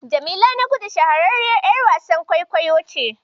Jamila Nagudu shahararriyar ƴar wasan kwaikwayo ce.